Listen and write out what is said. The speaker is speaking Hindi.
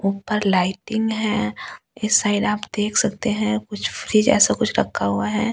ऊपर लाइटिंग है इस साइड आप देख सकते है कुछ फ्रिज ऐसा कुछ रखा हुआ है।